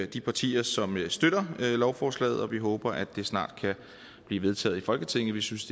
de partier som støtter lovforslaget og vi håber at det snart kan blive vedtaget i folketinget vi synes